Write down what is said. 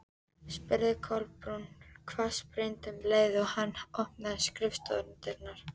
spurði Kolbrún hvassbrýnd um leið og hann opnaði skrifstofudyrnar.